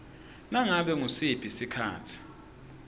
nganobe ngusiphi sikhatsi